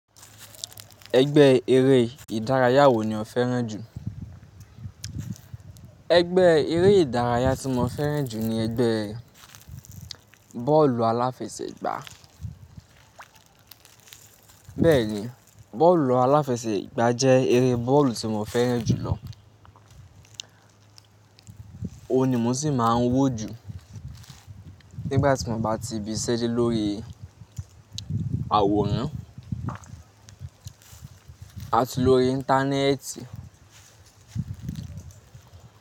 Ẹgbẹ́ eré ìdárayá wo ni o fẹ́ràn jù? Ẹgbẹ́ eré ìdárayá tí mo fẹ́ràn jù ni ẹgbẹ́ bọ́ọ̀lù aláfẹsẹ̀gbá. Bẹ́ẹ̀ni, bọ́ọ̀lù aláfẹsẹ̀gbá jẹ́ eré bọ́ọ̀lù tí mo fẹ́ràn jùlọ. Ó ni mo sì máa ń wò jù nígbà tí mo bá ti ibiṣẹ́ dé lórí àwòrán àti lórí Íńtánẹ́ẹ̀tì.